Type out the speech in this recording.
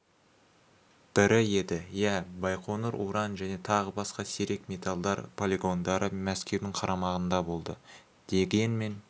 бірі еді иә байқоңыр уран және тағы басқа сирек металдар полигондары мәскеудің қарамағында болды дегенмен